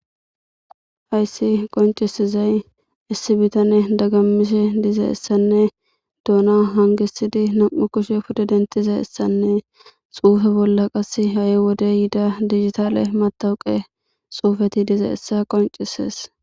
hayssi qoncisizay issi bitane dagammise diza issanne duuna hangisidi nam7u kushe pude dentiza issanne xuufe bolla qas ha7i wode yiida digitale matawuqe xuufeti diza issa qoncisees